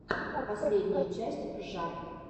последняя часть жжар